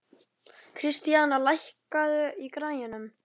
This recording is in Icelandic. Kristíana, lækkaðu í græjunum.